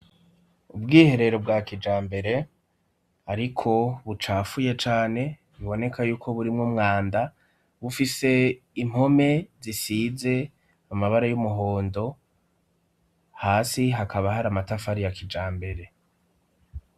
Ubwiherero bwa kijambere ariko bucafuye cane biboneka yuko burimwe umwanda bufise impome zisize amabara y'umuhondo hasi hakaba hari amatafari ya kijambere.